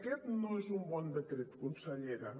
aquest no és un bon decret consellera